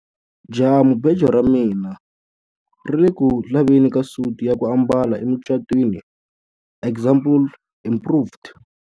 Jahamubejo ra mina ri ku le ku laveni ka suti ya ku ambala emucatwini example improved.